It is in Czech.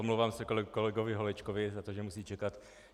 Omlouvám se kolegovi Holečkovi za to, že musí čekat.